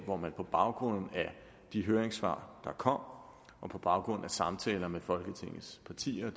hvor man på baggrund af de høringssvar der kom og på baggrund af samtaler med folketingets partier og